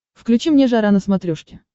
включи мне жара на смотрешке